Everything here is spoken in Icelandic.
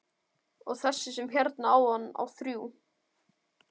Og þessi sem hérna áðan á þrjú.